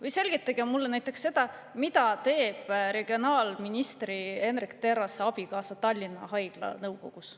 Või selgitage mulle näiteks seda, mida teeb regionaalminister Hendrik Terrase abikaasa Tallinna Haigla nõukogus.